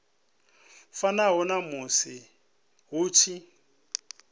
fanaho na musi hu tshi